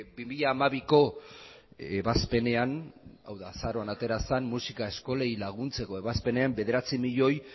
bi mila hamabiko ebazpenean hau da azaroan atera zen musika eskolei laguntzeko ebazpenean bederatzi milioi